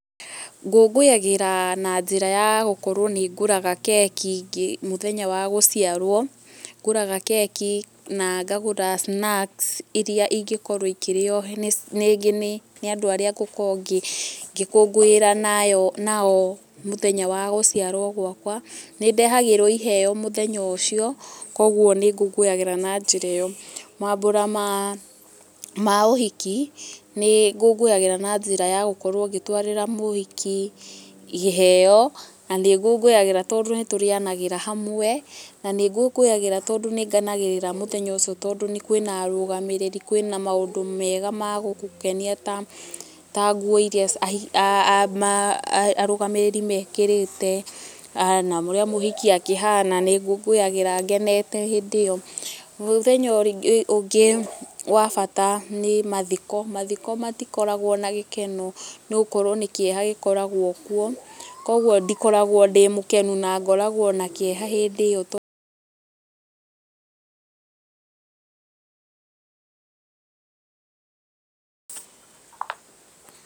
Ngũngũyagĩra na njĩra ya gũkorwo nĩ ngũraga keki mũthenya wa gũciarwo. Nĩ ngũraga keki na ngagũra snacks irĩa ingĩkorwo ikĩrio rĩngi nĩ andũ arĩa ngũkorwo ngĩkũngũira nayo, nao mũthenya wa gũciarwo gwakwa. Nĩ ndehagĩrwo iheo mũthenya ũcio, koguo nĩ ngũngũyagĩra na njĩra ĩyo. Maambura ma, ma ũhiki, nĩ ngũngũyagĩra na njĩra ya gũkorwo ngĩtwarĩra mũhiki iheo, na nĩ ngũngũyagĩra tondũ nĩ tũrĩanagĩra hamwe, na nĩ ngũngũyagĩra tondũ nĩ ngenagĩrĩra mũthenya ũcio tondũ kwĩna arũgamĩrĩri, kwĩna maũndũ mega ma gũgũkenia ta, ta ngũo iria arũgamĩrĩri mekĩrĩte, na ũrĩa mũhiki akĩhana, nĩ ngũngũyagĩra ngenete hĩndĩ ĩyo. Mũthenya ũngĩ wa bata nĩ mathiko. Mathiko matikoragwo na gĩkeno nĩ gũkorwo nĩ kĩeha gĩkoragwo kuo. Koguo ndikoragwo ndĩ mũkenu na ngoragwo na kĩeha hĩndĩ ĩyo.